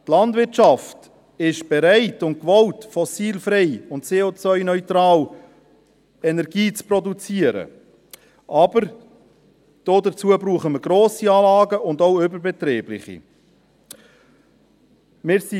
Die Landwirtschaft ist bereit und willens, fossilfreie und CO-neutrale Energie zu produzieren, aber dazu brauchen wir grosse und auch überbetriebliche Anlagen.